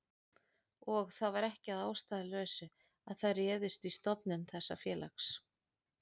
Og það var ekki að ástæðulausu að þær réðust í stofnun þessa félags.